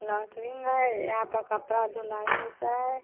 लौट्रिंग है यहाँ पर कपड़ा धुलाई होता है।